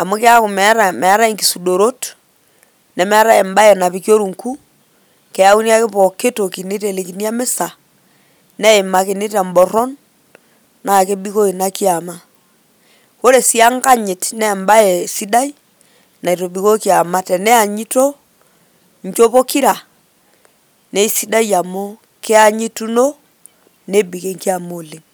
amu keeku meetai inkisudorot nemeetai embaye napiki orungu, keyauni ake pooki toki neitelekini emisa neimakini te mborron, naa kebikoo ina kiama. Ore sii enkanyit naa embaye sidai naitobikoo kiama teneanyito nchot pokira naa sidai amu kianyituno nebik enkiama oleng'.